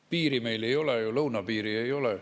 Piiri meil ju ei ole, lõunapiiri ei ole.